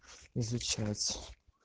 изучать